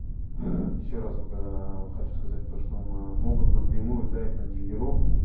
ещё разок аа хочу сказать то что могут напрямую дать на дилеров